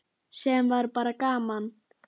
Þá sagðir þú: Ha hver?